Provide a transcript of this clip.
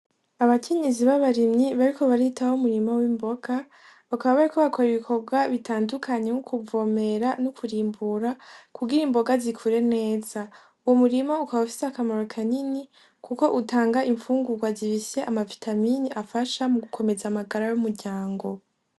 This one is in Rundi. Abakenyezi b'abarimyi bariko baritaho umurima w'imboga bakaba barikobakora ibikorwa bitandukanye nko kuvomera no kurimbura kugira imboga zikure neza ,umurima ukaba ufise akamaro kanini kuko utanga imfungurwa zifise amavitamine afasha mu gukomeza amagara y'umuryango.